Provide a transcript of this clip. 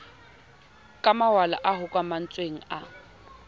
ka mawala a hokahantsweng a